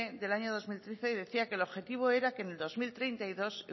del año dos mil trece decía que el objetivo era que en el dos mil treinta y dos